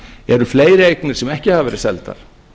eru fleiri eignir sem ekki hafa verið seldar